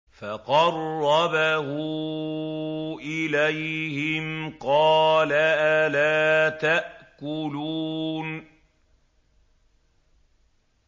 فَقَرَّبَهُ إِلَيْهِمْ قَالَ أَلَا تَأْكُلُونَ